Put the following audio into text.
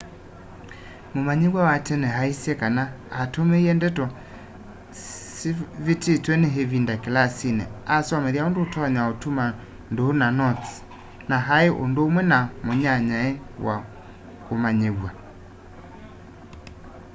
mumanyiw'a wa tene aisye kana atumiie ndeto syavitiwe ni ivinda kilasini asomethya undu utonya utuma nduu na notes na ai undumwe na munyanyae wa mumanyiw'a